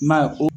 I m'a ye ko